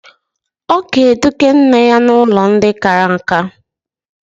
Ọ ga-eduga nne ya n'ụlọ ndị kara nka.